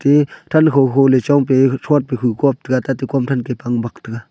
te than kho-kho le chongpe huthrot pa hukhop taiga tate khomthan ke phangbak taiga.